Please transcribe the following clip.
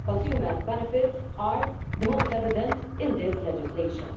Consumer benefits are the most evident thing in this legislation.